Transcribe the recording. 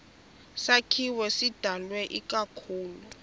sakhiwo sidalwe ikakhulu